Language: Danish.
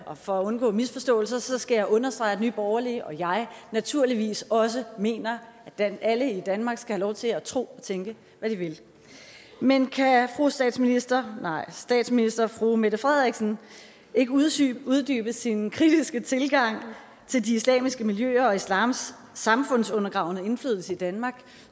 og for at undgå misforståelser skal jeg understrege at nye borgerlige og jeg naturligvis også mener at alle i danmark skal have lov til at tro og tænke hvad de vil men kan statsminister statsminister fru mette frederiksen ikke uddybe uddybe sin kritiske tilgang til de islamiske miljøer og islams samfundsundergravende indflydelse i danmark